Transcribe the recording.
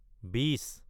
বিছ